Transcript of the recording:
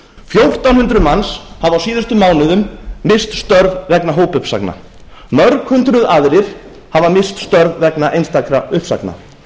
fjórtán hundruð mann hafa á síðustu mánuðum misst störf vegna hópuppsagna mörg hundruð aðrir hafa misst störf vegna einstakra uppsagna